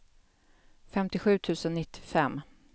femtiosju tusen nittiofem